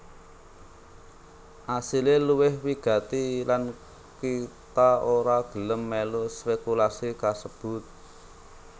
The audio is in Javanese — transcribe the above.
Asilé luwih wigati lan kita ora gelem mèlu spékulasi kasebut